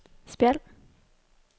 Spjald